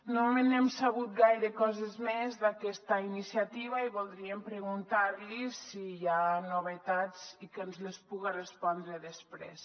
no n’hem sabut gaire coses més d’aquesta iniciativa i voldríem preguntar li si hi ha novetats i que ens les puga respondre després